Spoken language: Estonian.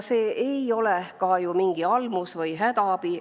See ei ole ju ka mingi almus või hädaabi.